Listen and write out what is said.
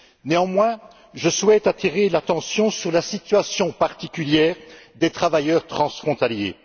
Néanmoins, je souhaite attirer l'attention sur la situation particulière des travailleurs transfrontaliers.